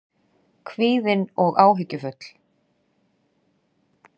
Kvíðin og áhyggjufull.